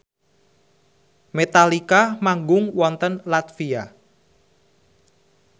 Metallica manggung wonten latvia